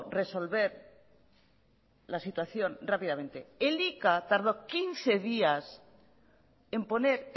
resolver la situación rápidamente elika tardó quince días en poner